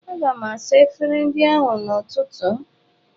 Aga m asa efere ndị ahụ n'ụtụtụ.